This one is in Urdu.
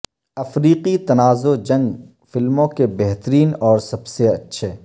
افریقی تنازعہ جنگ فلموں کے بہترین اور سب سے اچھے